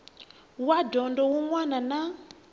wa dyondzo wun wana na